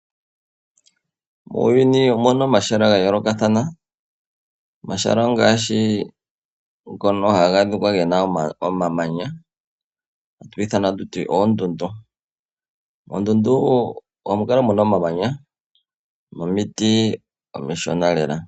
Muuyuni omuna omahala ga yolokathana, omahala ongashi ngono haga adhikwa gena omamanya hatu gi ithana ta tuti oondundu. Moondundu ohamu kala muna omamanya nomiiti omishona lela.